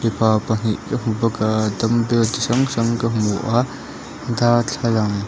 pa pahnih ka hmu bawk a dumbell chi hrang hrang ka hmu a darthlalang.